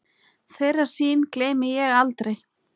Þeirri sýn gleymi ég aldrei.